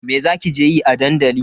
Me za ki je yi a dandali?